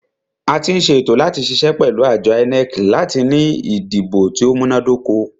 A tí ń ṣe ètò láti ṣiṣẹ́ pẹ̀lú àjọ INEC láti ní ìdìbò tí o múná dóko.